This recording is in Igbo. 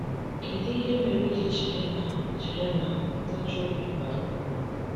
Kedụ ihe mere i ji chee na chee na ntachi obi bara ụrụ?